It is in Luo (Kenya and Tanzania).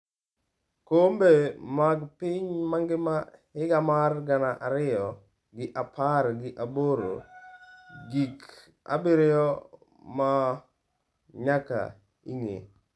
Kombe mag piny mangima higa mar gana ariyo gi apar gi aboro: Gik abiriyo ma nyaka ing’e